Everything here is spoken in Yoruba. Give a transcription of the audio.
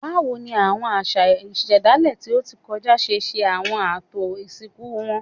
Báwo ni àwọn àṣà ìṣẹ̀dálẹ̀ tí ó ti kọjá ṣe ṣe àwọn ààtò ìsìnkú wọn?